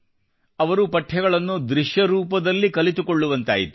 ಅವರು ಪಠ್ಯಗಳನ್ನು ದೃಶ್ಯರೂಪದಲ್ಲಿ ತಿಳಿದುಕೊಳ್ಳುವಂತಾಯಿತು